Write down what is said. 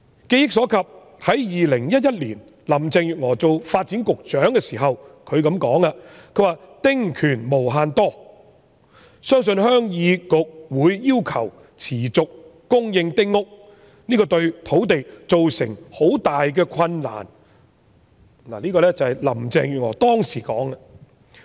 記憶所及，林鄭月娥在2011年擔任發展局局長時說"丁權無限多，相信鄉議局會要求持續供應丁屋，這對土地造成很大困難"。這是林鄭月娥當時說的。